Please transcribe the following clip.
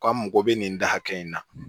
K'an mago bɛ nin da hakɛ in na